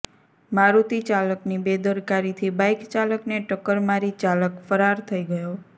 મારૂતી ચાલકની બેદરકારીથી બાઈક ચાલકને ટક્કર મારી ચાલક ફરાર થઈ ગયો